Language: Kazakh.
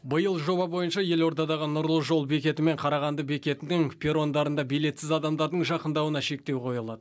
биыл жоба бойынша елордадағы нұрлы жол бекеті мен қарағанды бекетінің перрондарында билетсіз адамдардың жақындауына шектеу қойылады